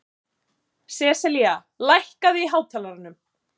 Seselía, lækkaðu í hátalaranum.